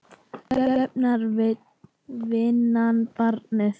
Göfgar vinnan barnið?